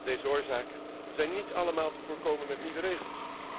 Deze oorzaken zijn niet allemaal te voorkomen met nieuwe regels.